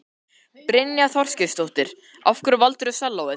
Brynja Þorgeirsdóttir: Af hverju valdirðu sellóið?